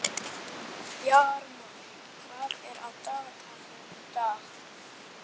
Bjarmar, hvað er á dagatalinu í dag?